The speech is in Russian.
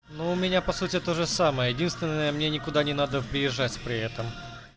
но у меня по сути тоже самое единственное мне никуда не надо выезжать при этом